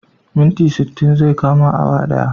Minti sittin zai kama awa daya